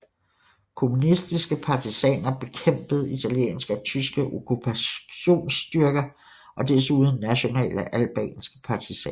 Kommunistiske partisaner bekæmpede italienske og tyske okkupationsstyrker og desuden nationale albanske partisaner